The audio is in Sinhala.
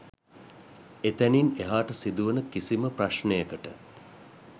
එතැනින් එහාට සිදුවන කිසිම ප්‍රශ්නයකට